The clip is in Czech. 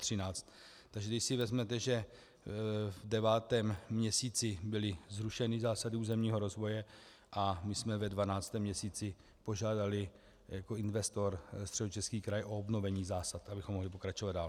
Takže když si vezmete, že v devátém měsíci byly zrušeny zásady územního rozvoje a my jsme ve dvanáctém měsíci požádali jako investor Středočeský kraj o obnovení zásad, abychom mohli pokračovat dál.